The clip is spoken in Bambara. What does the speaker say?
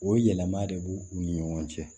O yɛlɛma de b'u u ni ɲɔgɔn cɛ